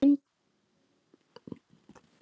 Frændi minn!